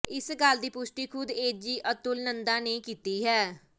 ਇਸ ਗੱਲ ਦੀ ਪੁਸ਼ਟੀ ਖੁਦ ਏਜੀ ਅਤੁਲ ਨੰਦਾ ਨੇ ਕੀਤੀ ਹੈ